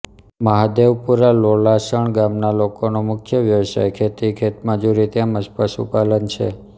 મહાદેવપુરા લોલાસણ ગામના લોકોનો મુખ્ય વ્યવસાય ખેતી ખેતમજૂરી તેમ જ પશુપાલન છે